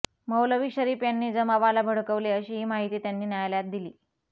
मौलवी शरीफ यांनी जमावाला भडकवले अशीही माहिती त्यांनी न्यायालयात दिली